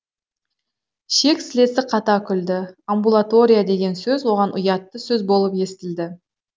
шек сілесі қата күлді амбулатория деген сөз оған ұятты сөз болып естілді